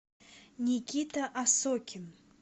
никита осокин